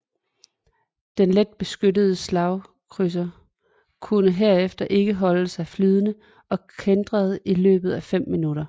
Den letbeskyttede slagkrydser kunne herefter ikke holde sig flydende og kæntrede i løbet af fem minutter